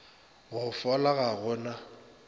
go fola ga go na